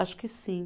Acho que sim.